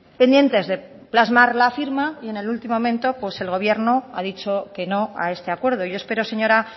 pendientes de plasmar la firma y en el último momento el gobierno ha dicho que no a este acuerdo yo espero señora